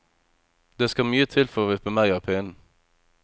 Det skal mye til for å vippe meg av pinnen.